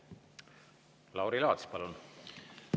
Lauri Laats, palun!